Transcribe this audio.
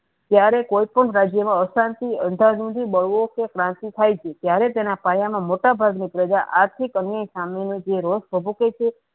ત્યારે કોઈ પણ રાજ્ય મા અશાંતિ અંધારો થી Divorce ક્રાંતિ થાય છે ત્યારે તેના પાયા મા મોટા ભાગની પ્રજા આર્થીક અન્ય સામે ની જે રસ